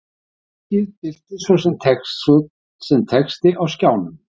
Úttakið birtist svo sem texti á skjánum.